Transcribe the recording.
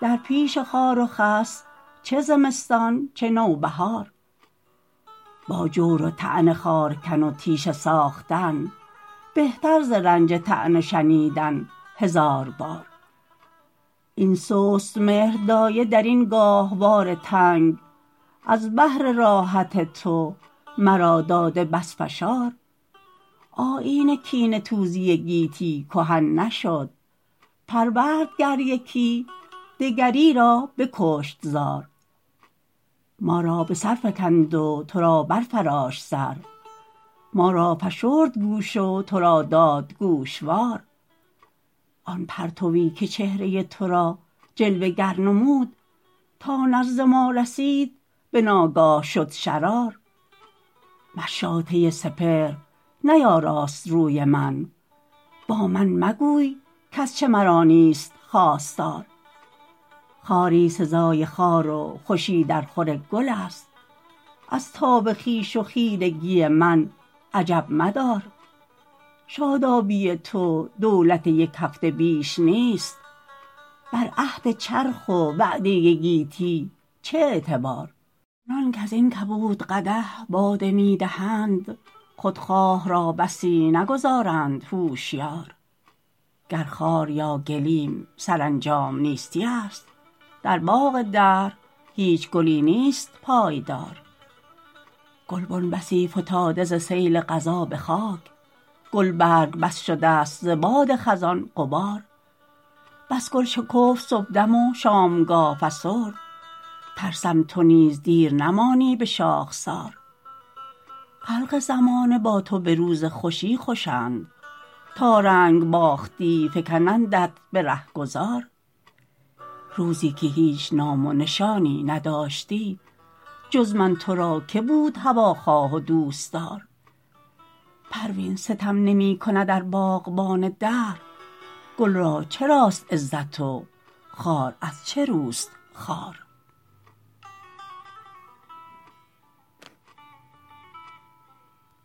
در پیش خار و خس چه زمستان چه نوبهار با جور و طعن خارکن و تیشه ساختن بهتر ز رنج طعنه شنیدن هزار بار این سست مهر دایه درین گاهوار تنگ از بهر راحت تو مرا داده بس فشار آیین کینه توزی گیتی کهن نشد پرورد گر یکی دگری را بکشت زار ما را بسر فکند و ترا برفراشت سر ما را فشرد گوش و ترا داد گوشوار آن پرتوی که چهره تو را جلوه گر نمود تا نزد ما رسید بناگاه شد شرار مشاطه سپهر نیاراست روی من با من مگوی کازچه مرا نیست خواستار خواری سزای خار و خوشی در خور گل است از تاب خویش و خیرگی من عجب مدار شادابی تو دولت یک هفته بیش نیست بر عهد چرخ و وعده گیتی چه اعتبار آنان کازین کبود قدح باده میدهند خودخواه را بسی نگذارند هوشیار گر خار یا گلیم سرانجام نیستی است در باغ دهر هیچ گلی نیست پایدار گلبن بسی فتاده ز سیل قضا بخاک گلبرگ بس شدست ز باد خزان غبار بس گل شکفت صبحدم و شامگه فسرد ترسم تو نیز دیر نمانی بشاخسار خلق زمانه با تو بروز خوشی خوشند تا رنگ باختی فکنندت برهگذار روزی که هیچ نام و نشانی نداشتی جز من ترا که بود هواخواه و دوستدار پروین ستم نمیکند ار باغبان دهر گل را چراست عزت و خار از چه روست خوار